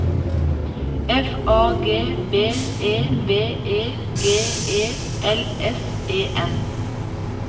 F A G B E V E G E L S E N